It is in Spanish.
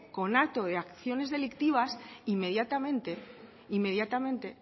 conato de acciones delictivas inmediatamente inmediatamente